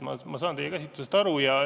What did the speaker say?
Ma saan teie käsitlusest aru.